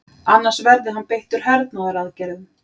Annars verði hann beittur hernaðaraðgerðum